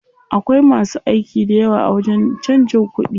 Akwai masu aiki dayawa a wajen canjin kuɗi.